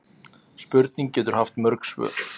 Spurning getur haft mörg svör.